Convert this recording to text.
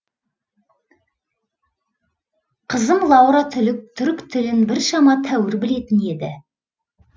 қызым лаура түрік тілін біршама тәуір білетін еді